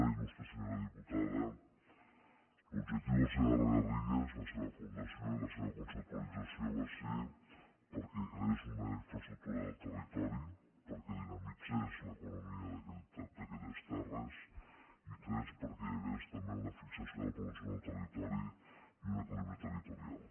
il·l’objectiu del segarra garrigues la seva fundació i la seva conceptualització va ser perquè creés una infraestructura del territori perquè dinamitzés l’economia d’aquelles terres i tres perquè hi hagués també una fixació de la població en el territori i un equilibri territorial